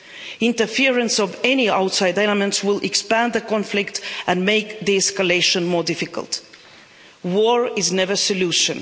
The interference of any outside elements will expand the conflict and make the escalation more difficult. War is never a solution.